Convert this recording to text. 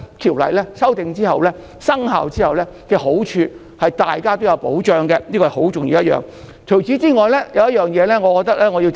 《條例草案》修訂及生效之後帶來的好處，是令大家受到保障，這是很重要的一點。